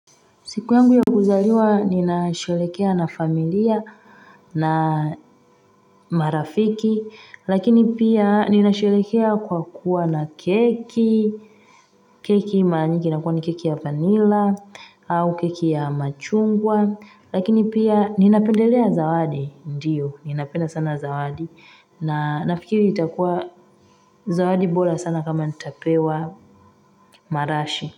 Siku yangu ya kuzaliwa nina sherehekea na familia na marafiki, lakini pia nina sherehekea kwa kuwa na keki, keki mara nyingi ina kuwa ni keki ya vanilla, au keki ya machungwa, lakini pia nina pendelea zawadi, ndiyo, nina penda sana zawadi, na nafikiri itakuwa zawadi bora sana kama nitapewa marashi.